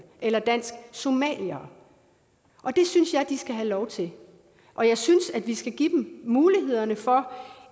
eller dansksomaliere det synes jeg de skal have lov til og jeg synes at vi skal give dem mulighederne for